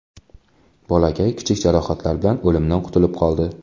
Bolakay kichik jarohatlar bilan o‘limdan qutulib qoldi.